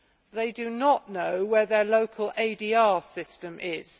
They do not know where their local ADR system is.